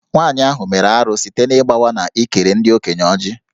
Nwanyị ahụ mere arụ site n’ịgbawa na ịkere ndị okenye Ọjị